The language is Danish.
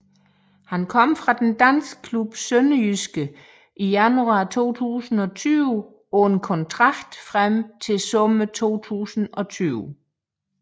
Han kom fra den danske klub SønderjyskE i januar 2020 på en kontrakt frem til sommer 2020